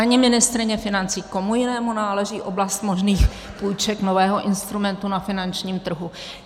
Ani ministryně financí - komu jinému náleží oblast možných půjček, nového instrumentu na finančním trhu?